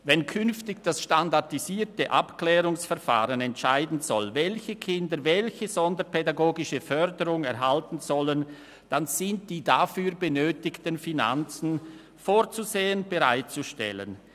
Wenn künftig das SAV entscheiden soll, welche Kinder welche sonderpädagogische Förderung erhalten sollen, sind die benötigten Finanzen dafür vorzusehen und bereitzustellen.